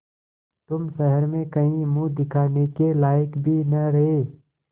तुम शहर में कहीं मुँह दिखाने के लायक भी न रहे